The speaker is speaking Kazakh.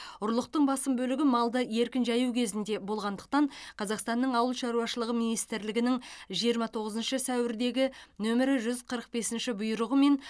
ұрлықтың басым бөлігі малды еркін жаю кезінде болғандықтан қазақстанның ауыл шаруашылығы министрлігінің жиырма тоғызыншы сәуірдегі нөмірі жүз қырық бесінші бұйрығымен